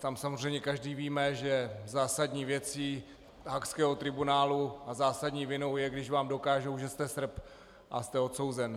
Tam samozřejmě každý víme, že zásadní věcí haagského tribunálu a zásadní vinou je, když vám dokážou, že jste Srb, a jste odsouzen.